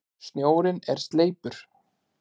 Snjórinn er sleipur!